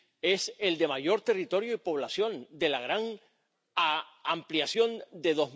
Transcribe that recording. Es el de mayor territorio y población de la gran ampliación de